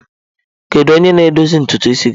Kedu onye na-edozi ntutu isi gị?